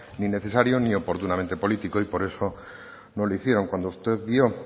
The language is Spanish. ni necesario ni oportunamente político y por eso no lo hicieron cuando usted vio